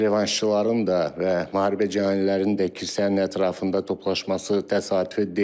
revanşçıların da və müharibə cəhənnəmlərinin də kilsənin ətrafında toplaşması təsadüfü deyil.